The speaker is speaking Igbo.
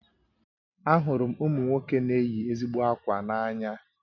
Ahụru m ụmụ nwoke na-eyi ezigbo ákwà n'anya